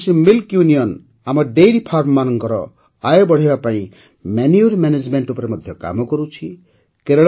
Varanasi milk union ଆମ dairy ଫାର୍ମରମାନଙ୍କର ଆୟ ବଢ଼ାଇବା ପାଇଁ ମନୁରେ ମେନେଜମେଣ୍ଟ ଉପରେ କାମ କରୁଛି